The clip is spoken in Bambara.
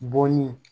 Bɔn ye